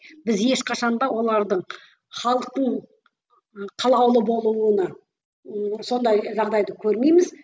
біз ешқашан да олардың халықтың қалаулы болуына ы сондай жағдайды көрмейміз